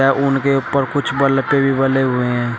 वे उनके ऊपर कुछ बल्फे भी बले हुए हैं।